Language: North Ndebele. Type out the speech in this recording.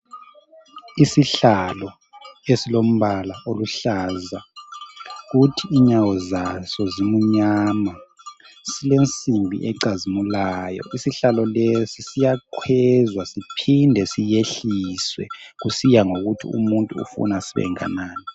Isihlalo esilombala oluhlaza ukuthi inyawo zaso zimunyama silensimbi ecazimulayo isihlalo lesi siyakhwezwa siphinde siyehliswe kusiya ngokuthi umuntu ufuna sibenganani